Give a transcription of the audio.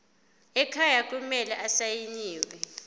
ekhaya kumele asayiniwe